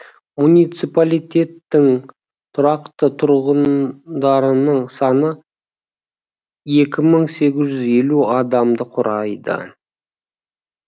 муниципалитеттің тұрақты тұрғындарының саны екі мың сегіз жүз елу адамды құрайды